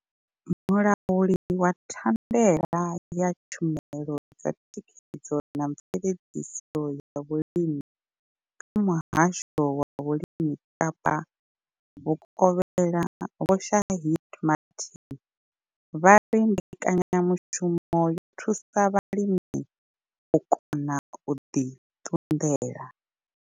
Mulauli wa thandela ya tshumelo dza thikhedzo na mveledziso ya vhulimi kha Muhasho wa vhulimi Kapa vhukovhela Vho Shaheed Martin vha ri mbekanyamushumo yo thusa vhalimi u kona u ḓi ṱunḓela.